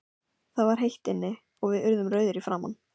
Það var heitt inni, og við urðum rauðir í framan.